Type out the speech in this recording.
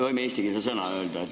Võime eestikeelse sõna öelda.